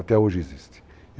Até hoje existe.